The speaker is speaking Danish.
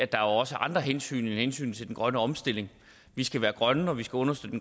der også er andre hensyn end hensynet til den grønne omstilling vi skal være grønne og vi skal understøtte